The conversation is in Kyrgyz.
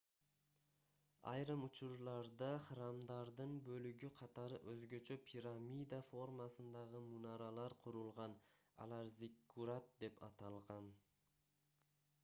айрым учурларда храмдардын бөлүгү катары өзгөчө пирамида формасындагы мунаралар курулган алар зиккурат деп аталган